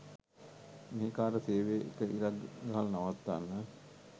මෙහෙකාර සේවේ එක ඉරක් ගහල නවත්වන්න